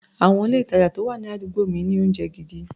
Àwọn ilé-ìtàjà tó wà ní àdúgbò mi ní oúnjẹ gidi.